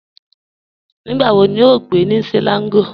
Nígbà wò ní o n gbẹ̀ ní Selangọ̀?